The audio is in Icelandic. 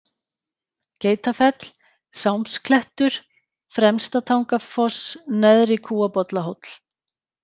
Geitafell, Sámsklettur, Fremstatangafoss, Neðri-Kúabollahóll